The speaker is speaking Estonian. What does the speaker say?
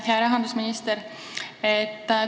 Hea rahandusminister!